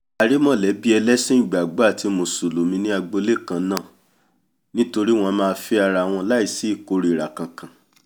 a rí mọ̀lẹ́bí ẹlẹ́sìn ìgbàgbọ́ àti mùsùlùmí ní agbolé kannáà nítorí wọ́n a máa fẹ́ arawọn láì sí ìkórira kankan